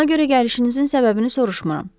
Ona görə gəlişinizin səbəbini soruşmuram.